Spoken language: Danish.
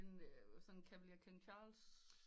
En sådan en cavalier king charles